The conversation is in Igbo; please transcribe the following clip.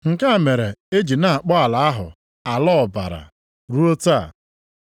Nke a mere e ji na-akpọ ala ahụ, “Ala Ọbara,” + 27:8 Maọbụ, Ubi Ọbara ruo taa.